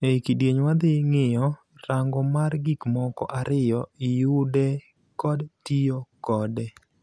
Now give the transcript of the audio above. Ei kidieny wadhi ng'iyo rango mar gikmoko ariyo-Yude kod tiyo koe.